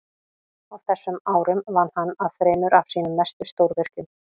á þessum árum vann hann að þremur af sínum mestu stórvirkjum